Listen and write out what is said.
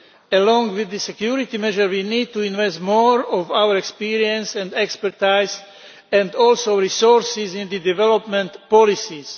Along with the security measures, we need to invest more experience and expertise and also resources in development policies.